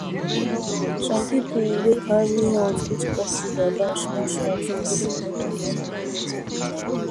some people wey carry health fit cut sugar down small small to maintain body well